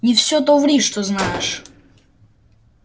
не всё то ври что знаешь